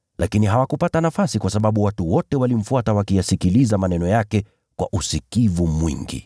Lakini hawakupata nafasi kwa sababu watu wote walimfuata wakiyasikiliza maneno yake kwa usikivu mwingi.